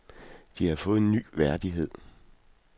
De havde fået en ny værdighed.